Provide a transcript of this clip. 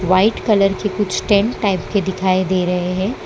White colour के कुछ tent type के दिखाई दे रहे हैं।